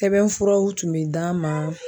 Sɛbɛnfuraw tun bɛ d'a ma.